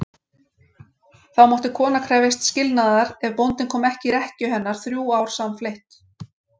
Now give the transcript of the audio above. Þá mátti kona krefjast skilnaðar ef bóndinn kom ekki í rekkju hennar þrjú ár samfleytt.